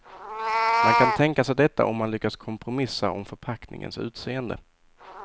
Man kan tänka sig detta om man lyckas kompromissa om förpackningens utseende.